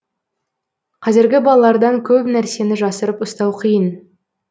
қазіргі балалардан көп нәрсені жасырып ұстау қиын